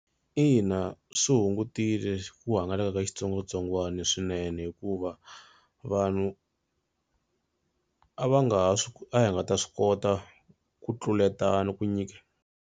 Ina swi hungutile ku hangalaka ka xitsongwatsongwana swinene hikuva vanhu a va nga ha swi a hi nga ta swi kota ku tluletana ku nyika.